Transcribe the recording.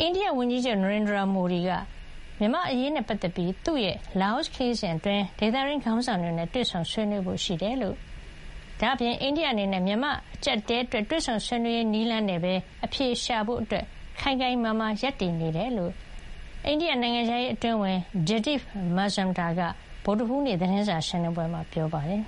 အိန္ဒိယဝန်ကြီးချုပ် နရိန်ဒရာ မိုဒီက မြန်မာ့အရေးနဲ့ပတ်သက်ပြီး သူ့ရဲ့ လာအိုခရီးစဉ်အတွင်း ဒေသတွင်းခေါင်းဆောင်တွေနဲ့ တွေ့ဆုံ ဆွေးနွေးဖို့ရှိကြောင်းနဲ့ အိန္ဒိယအနေနဲ့ မြန်မာ့အကြပ်အတည်း အတွက် တွေ့ဆုံဆွေးနွေးရေး နည်းလမ်းနဲ့ပဲအဖြေရှာဖို့ ခိုင်ခိုင်မာမာရပ်တည် နေကြောင်းလည်း အိန္ဒိယနိုင်ငံခြားရေးအတွင်းဝန် Jaideep Mazumdar က ဗုဒ္ဓဟူးနေ့ သတင်းစာရှင်းလင်းပွဲမှာ ပြောပါတယ်